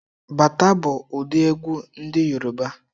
Bata bụ ụdị egwu ndị Yoruba